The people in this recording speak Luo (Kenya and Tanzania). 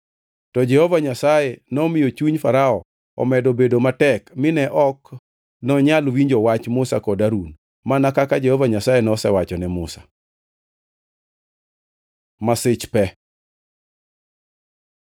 To Jehova Nyasaye nomiyo chuny Farao omedo bedo matek mine ok nonyal winjo wach Musa kod Harun, mana kaka Jehova Nyasaye nosewacho ne Musa. Masich pe